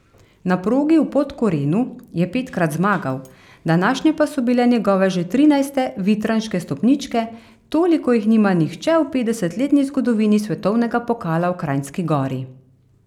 Na progi v Podkorenu je petkrat zmagal, današnje pa so bile njegove že trinajste vitranške stopničke, toliko jih nima nihče v petdesetletni zgodovini svetovnega pokala v Kranjski Gori.